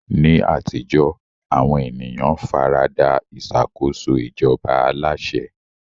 Ní àtijọ́, àwọn ènìyàn fara da ìṣàkóso ìjọba aláṣẹ.